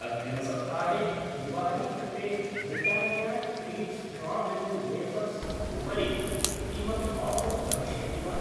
अग्रिमसप्ताहे दिवालीकृते Britannia treat strawberry wafers उपरि किमपि आफर् भविष्यति वा?